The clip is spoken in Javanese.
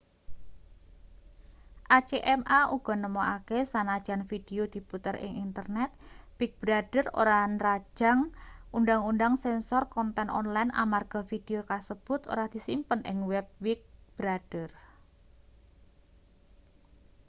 acma uga nemokake sanajan vidio diputer ing internet big brother ora nrajang undhang-undhang sensor konten online amarga vidio kasebut ora disimpen ing web big brother